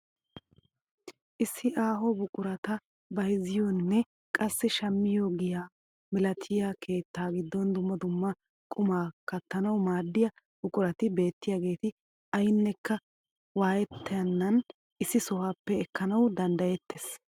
Issi aaho buqurata bayzziyoonne qassi shammiyoo giyaa milatiyaa keettaa giddon dumma dumma qumaa kattanawu maaddiyaa buqurati beettiyaaget aynekka wayettenan issi sohuwaappe ekkanawu danddayettees!